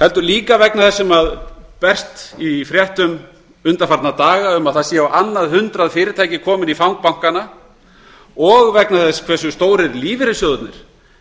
heldur líka vegna þess sem berst í fréttum undanfarna daga um að á annað hundrað fyrirtækja séu komin í fang bankanna og vegna þess hve stórir lífeyrissjóðirnir